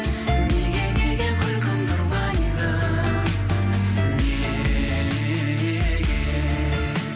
неге неге күлкімді ұрлайды неге